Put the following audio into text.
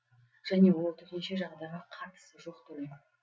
және ол төтенше жағдайға қатысы жоқ төлем